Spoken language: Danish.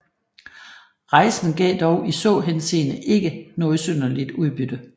Rejsen gav dog i så henseende ikke noget synderligt udbytte